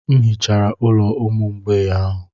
M hichara ụlọ ụmụ mgbei ahụ.